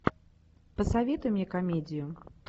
посоветуй мне комедию